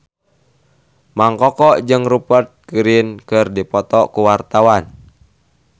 Mang Koko jeung Rupert Grin keur dipoto ku wartawan